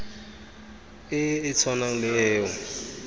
e e tshwanang le eo